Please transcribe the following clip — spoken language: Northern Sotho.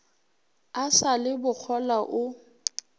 a sa le bokgolwa o